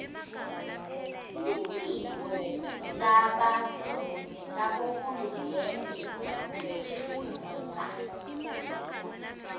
litiko labohulumende betifundza